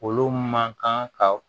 Olu man kan ka